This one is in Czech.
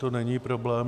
To není problém.